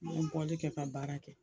An bɛ bɔli kɛ ka baara kɛ.